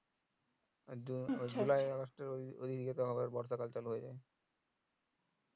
আর June August এর ওই দিকে তো আবার বর্ষা কাল চালু হয়ে যাই